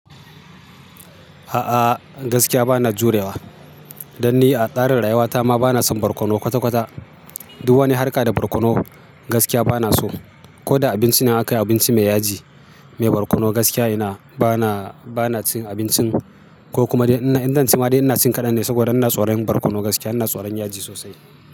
A'a gaskiya bana jurewa. Danni a tsarin rayuwata ma bana son barkono kwata-kwata. Du wani harka da barkono gaskiya bana so. Ko da abinci na aka yi abinci mai yaji, mai barkono gaskiya ina bana, bana cin abincin ko kuma idan na ci ma dai ina cin kaɗan ne saboda ina tsoron barkono gaskiya ina tsoron yaji sosai.